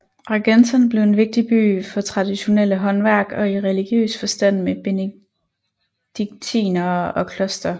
Argentan blev en vigtig by for traditionelle håndværk og i religiøs forstand med benediktinere og kloster